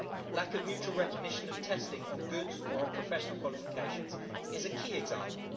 Lack of mutual recognition of testing on goods or professional qualifications is a key example.